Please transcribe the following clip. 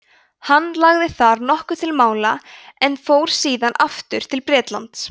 hann lagði þar nokkuð til mála en fór síðan aftur til bretlands